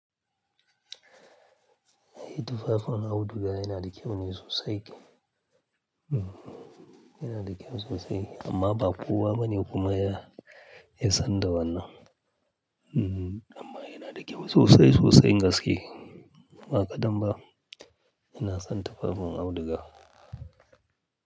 Yin tufafin auduga yana da kyau sosai. Yana da kyau sosai amma ba kowa bane kuma ya sanda wannan. Amma yana da kyau sosai sosai gaskiya. Ba kaɗan ba ina son tufafin auduga.